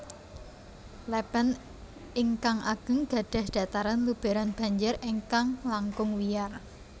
Lèpèn ingkang ageng gadhah dhataran lubèran banjir ingkang langkung wiyar